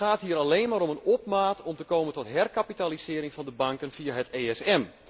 Het gaat hier alleen maar om een opmaat om te komen tot herkapitalisering van de banken via het ESM.